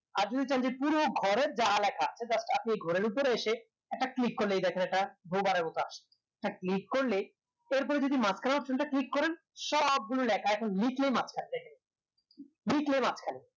আর যদি চান যে পুরো ঘরের যা লেখা সেই ঘরের উপর এসে একটা click করলেই এই দেখেন একটা একটা boder করলেই এর পরে যদি মাঝখানের click টা option টা করেন সব গুলোর এক মাঝ খানে